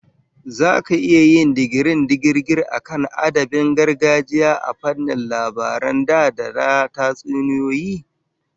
Zaka iya yin digirin digirgir akan adabin gargajiya a fannin labaran da da tatsuniyoyi?